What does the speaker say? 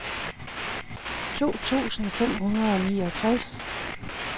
to tusind fem hundrede og niogtres